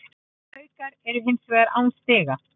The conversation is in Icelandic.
Haukar eru hins vegar án stiga